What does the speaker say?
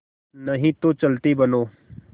नहीं तो चलते बनो